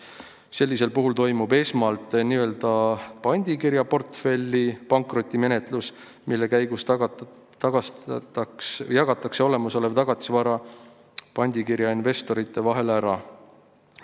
Sellisel puhul toimub esmalt n-ö pandikirja portfelli pankrotimenetlus, mille käigus jagatakse olemasolev tagatisvara pandikirja investorite vahel ära.